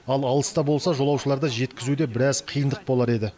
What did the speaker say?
ал алыста болса жолаушыларды жеткізуде біраз қиындық болар еді